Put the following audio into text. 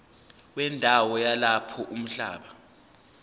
wendawo yalapho umhlaba